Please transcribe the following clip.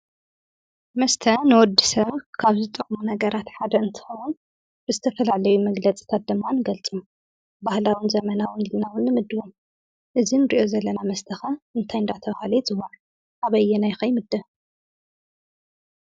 መስተ ንወዲሰብ ካብ ዝጠቅሙ ነገራት ሓደ እንትኾን ብዝተፋላለየ መግለፂታት ድማ ይገልፁ። ብባህላዊን ዘበናውን ኢልና ንምድቦ። እዚ ንሪኦ ዘለና መስተ እንታይ እንዳተባሃለ ይፅዋዕ? ኣበይና ከ ይምደብ?